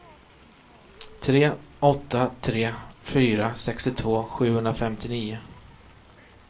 tre åtta tre fyra sextiotvå sjuhundrafemtionio